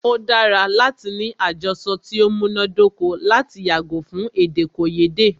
O dára láti ní àjọsọ ti o múná dóko lati yàgò fún èdèkòyédè.